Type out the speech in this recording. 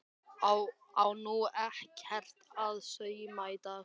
Á nú ekkert að sauma í dag?